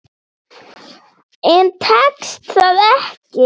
En tekst það ekki.